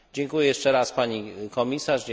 Dziękuję jeszcze raz pani komisarz.